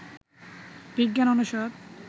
বিজ্ঞান অনুষদ